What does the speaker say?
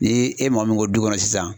Ni e mɔgɔ min ko du kɔnɔ sisan.